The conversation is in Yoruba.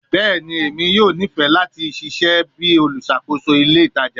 Bẹẹni, Emi yoo nifẹ lati ṣiṣẹ bi oluṣakoso ile itaja